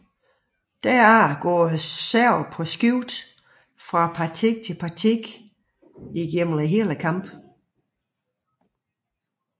Dernæst går serven på skift fra parti til parti gennem hele kampen